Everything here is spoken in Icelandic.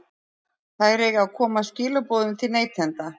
Þær eiga að koma skilaboðum til neytenda.